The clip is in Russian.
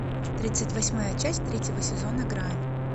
тридцать восьмая часть третьего сезона грань